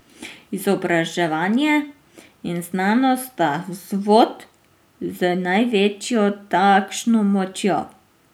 Izobraževanje in znanost sta vzvod z največjo takšno močjo.